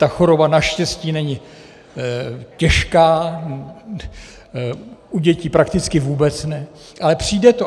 Ta choroba naštěstí není těžká, u dětí prakticky vůbec ne, ale přijde to.